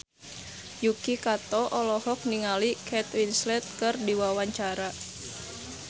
Yuki Kato olohok ningali Kate Winslet keur diwawancara